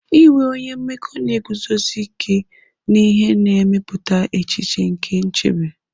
Inwe onye mmekọ na-eguzosi ike n'ihe na-emepụta echiche nke nchebe.